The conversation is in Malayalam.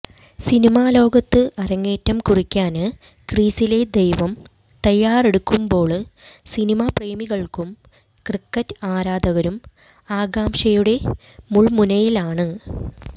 സിനിമാ ലോകത്ത് അരങ്ങേറ്റം കുറിക്കാന് ക്രീസിലെ ദൈവം തയ്യാറെടുക്കുമ്പോള് സിനിമാപ്രേമികള്ക്കും ക്രിക്കറ്റ് ആരാധകരും ആകാംഷയുടെ മുല്മുനയിലാണ്